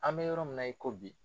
An bɛ yɔrɔ min na i ko bi.